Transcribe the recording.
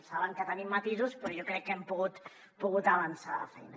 saben que tenim matisos però jo crec que hem pogut avançar feina